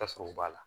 Ka sɔrɔ u b'a la